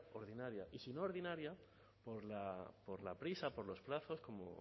ordinaria y si no ordinaria por la prisa por los plazos como